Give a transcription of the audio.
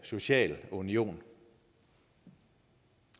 social union